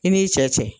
I n'i cɛ